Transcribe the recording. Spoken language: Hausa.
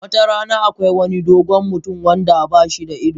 Wata rana, akwai wani dogon mutum wanda ba shi da ido.